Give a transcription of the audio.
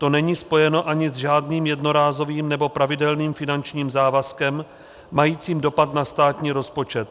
To není spojeno ani s žádným jednorázovým nebo pravidelným finančním závazkem majícím dopad na státní rozpočet.